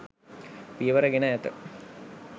පියවර ගෙන ඇත.